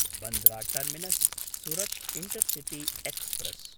Bandra टर्मिनस्–सुरत् intercity express